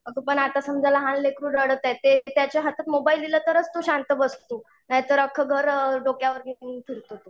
अगं पण आता समजा लहान लेकरू रडत आहे ते त्याच्या हातात मोबाईल दिलं तरच तो शांत बसतो, नाहीतर अक्ख घर डोक्यावर घेऊन फिरतो.